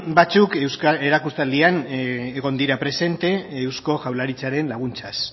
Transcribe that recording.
batzuk erakustaldian presente egon dira eusko jaurlaritzaren laguntzaz